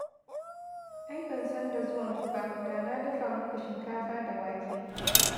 Ai ban san da zuwanku ba, da na dafa muku shinkafa da wake.